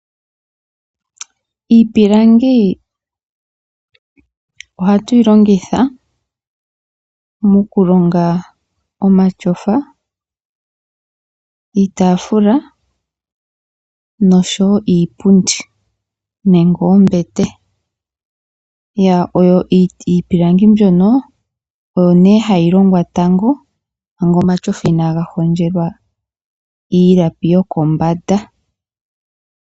Iipilangi oha twii longitha mokulonga omatyofa, iitafula nosho woo iipundi nenge oombete. Iipilangi mbyono oyo nee hayi longwa tango manga omatyofa ina ga hondjelwa iilapi yokombanda.